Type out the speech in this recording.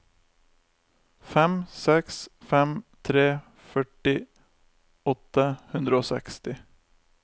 fem seks fem tre førti åtte hundre og seksti